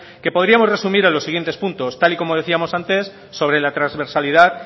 que podríamos resumir en los siguientes puntos tal y como decíamos antes sobre la trasversalidad